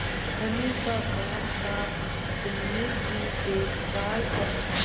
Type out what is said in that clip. धनी का काम थाबिन्नी की देखभाल करना